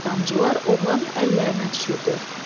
Billur damcılar oğlanın əllərinə düşürdü.